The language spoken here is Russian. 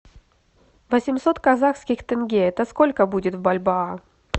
восемьсот казахских тенге это сколько будет в бальбоа